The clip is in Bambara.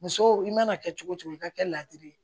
Muso i mana kɛ cogo cogo i ka kɛ ladiri ye